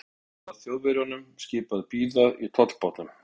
Á meðan var Þjóðverjunum skipað að bíða í tollbátnum.